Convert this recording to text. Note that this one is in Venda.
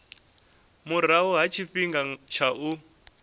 murahu ha tshifhinga tsha u